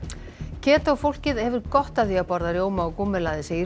ketó fólkið hefur gott af því að borða rjóma og gúmmelaði segir